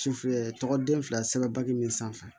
Sufɛ tɔgɔ den fila sɛbɛn bakuru min sanfɛ